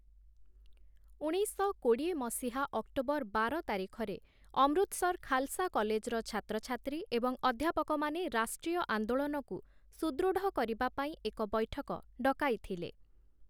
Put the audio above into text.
ଉଣେଇଶଶହ କୋଡ଼ିଏ ମସିହା ଅକ୍ଟୋବର ବାର ତାରିଖରେ, ଅମୃତସର ଖାଲସା କଲେଜର ଛାତ୍ରଛାତ୍ରୀ ଏବଂ ଅଧ୍ୟାପକମାନେ ରାଷ୍ଟ୍ରୀୟ ଆନ୍ଦୋଳନକୁ ସୁଦୃଢ଼ କରିବା ପାଇଁ ଏକ ବୈଠକ ଡକାଇଥିଲେ ।